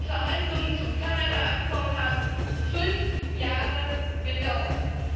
Die Verhandlungen zum Kanada Abkommen haben fünf Jahre gedauert.